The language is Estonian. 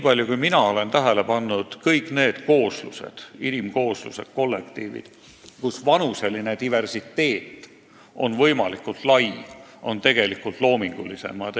Aga ma olen tähele pannud, et kõik inimkooslused ehk kollektiivid, kus vanuseline diversiteet on võimalikult suur, on tegelikult loomingulisemad.